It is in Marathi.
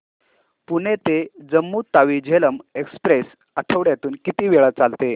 पुणे ते जम्मू तावी झेलम एक्स्प्रेस आठवड्यातून किती वेळा चालते